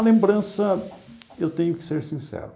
A lembrança, eu tenho que ser sincero,